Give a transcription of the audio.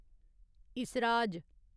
इसराज